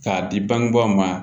K'a di bangebaaw ma